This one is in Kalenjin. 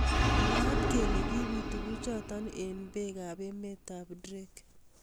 Mwaat kele kibit tukjotok eng bek ab emet ab Drake